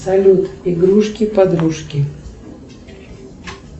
салют игрушки подружки